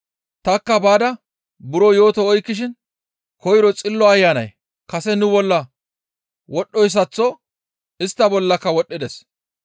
«Tanikka baada buro yooto oykkishin koyro Xillo Ayanay kase nu bolla wodhdhoyssaththo istta bollaka wodhdhides.